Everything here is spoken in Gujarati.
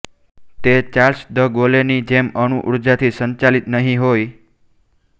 તે ચાર્લ્સ દ ગોલે ની જેમ અણુઊર્જાથી સંચાલિત નહીં હોય